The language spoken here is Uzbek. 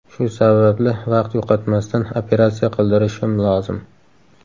Shu sababli vaqt yo‘qotmasdan operatsiya qildirishim lozim.